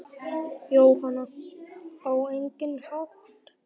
Jóhann: Á engan hátt?